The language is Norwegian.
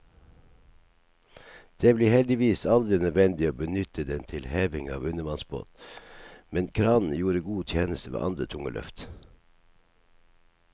Det ble heldigvis aldri nødvendig å benytte den til heving av undervannsbåt, men kranen gjorde god tjeneste ved andre tunge løft.